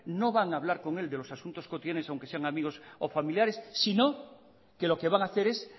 no van a hablar con él de los asuntos cotidianos aunque sean amigos o familiares sino que lo que van a hacer es